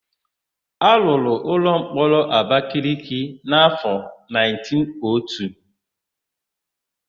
A rụrụ ụlọmkpọrọ Abakaleke n'áfọ 1902.